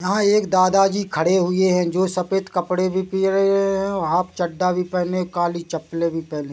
यहा एक दादाजी खड़े हुए है जो सफ़ेद कपड़े भी हुए है और हाफ चड्डा भी पहने काली चप्पले भी पहने--